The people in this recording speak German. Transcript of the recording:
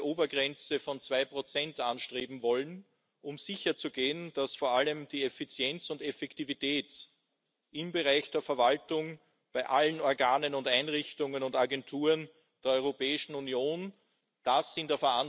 oder EASO und Europol, das heißt bei zentralen Agenturen, keine Kürzungen des Kommissionsansatzes vorsieht.